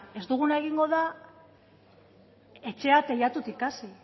ez duguna egingo da etxea teilatutik hasi